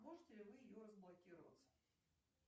можете ли вы ее разблокировать